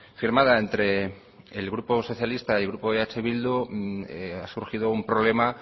firmada entre el grupo socialista y grupo eh bildu ha surgido un problema